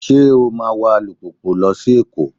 Ṣé o máa wa alùpùpù lọ sí Èkó?